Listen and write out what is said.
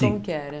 Sim Como que era?